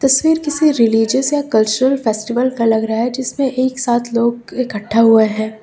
तस्वीर किसी रिलिजियस या कल्चरल फेस्टिवल का लग रहा है जिसमें एक साथ लोग इकट्ठा हुए हैं।